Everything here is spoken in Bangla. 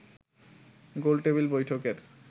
গোলটেবিল বৈঠকের